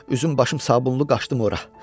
Üzüm başım sabunlu qaşdım ora.